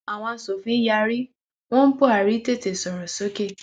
àwọn asòfin yarí wọn buhari tètè sọrọ sókè